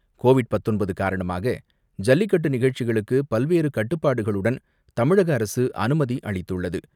Covid பத்தொன்பது காரணமாக, ஜல்லிக்கட்டு நிகழ்ச்சிகளுக்கு பல்வேறு கட்டுப்பாடுகளுடன் தமிழக அரசு அனுமதி அளித்துள்ளது.